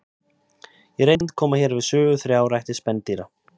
Í reynd koma hér við sögu þrjár ættir spendýra.